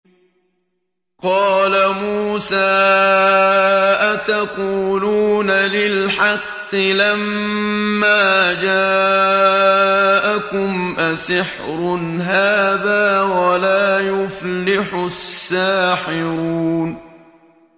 قَالَ مُوسَىٰ أَتَقُولُونَ لِلْحَقِّ لَمَّا جَاءَكُمْ ۖ أَسِحْرٌ هَٰذَا وَلَا يُفْلِحُ السَّاحِرُونَ